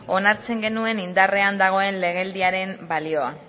onartzen genuen indarrean legealdiaren balioa